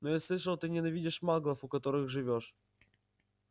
но я слышал ты ненавидишь маглов у которых живёшь